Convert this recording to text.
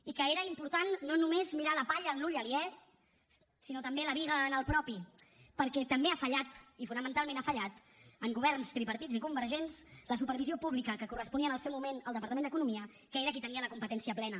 i que era important no només mirar la palla en l’ull aliè sinó també la biga en el propi perquè també ha fallat i fonamentalment ha fallat en governs tripartits i convergents la supervisió pública que corresponia en el seu moment al departament d’economia que era qui en tenia la competència plena